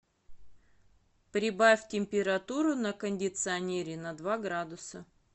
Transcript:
прибавь температуру на кондиционере на два градуса